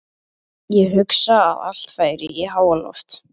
Ég hugsa að allt færi í háaloft.